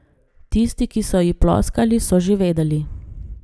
Tisti, ki so ji ploskali, so že vedeli.